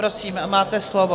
Prosím, máte slovo.